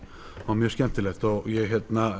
mjög skemmtilegt ég